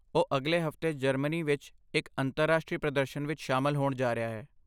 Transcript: ਉਹ ਅਗਲੇ ਹਫ਼ਤੇ ਜਰਮਨੀ ਵਿੱਚ ਇੱਕ ਅੰਤਰਰਾਸ਼ਟਰੀ ਪ੍ਰਦਰਸ਼ਨ ਵਿੱਚ ਸ਼ਾਮਲ ਹੋਣ ਜਾ ਰਿਹਾ ਹੈ।